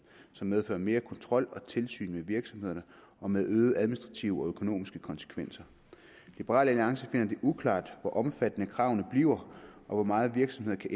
som medfører mere kontrol og tilsyn med virksomhederne og med øgede administrative og økonomiske konsekvenser liberal alliance finder det uklart hvor omfattende kravene bliver og hvor meget virksomhederne